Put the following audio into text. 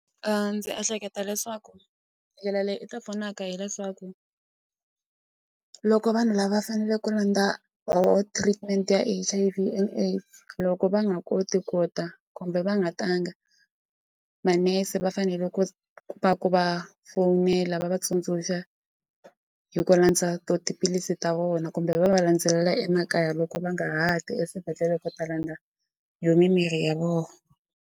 A ndzi ehleketa leswaku ndlela leyi i ta pfunaka hileswaku loko vanhu lava faneleke ku landza or treatment ya H_I_V and AIDS loko va nga koti ku ta kumbe va nga tanga manese va fanele ku va ku va fowunela va va tsundzuxa hi ku landza tiphilisi ta vona kumbe va va landzelela emakaya loko va nga ha ti eswibedhlele ku ta landza yo mimirhi ya vona.